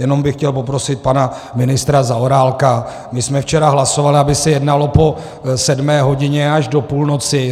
Jenom bych chtěl poprosit pana ministra Zaorálka, my jsme včera hlasovali, aby se jednalo po sedmé hodině až do půlnoci.